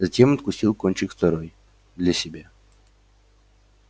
затем откусил кончик второй для себя